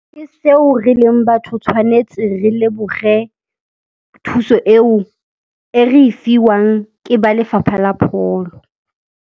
Ke seo re leng batho tshwanetse re leboge thuso eo e re e fiwang ke ba lefapha la pholo.